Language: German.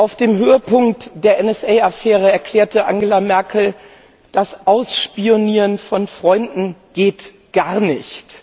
Auf dem Höhepunkt der NSA Affäre erklärte Angela Merkel Das Ausspionieren von Freunden geht gar nicht!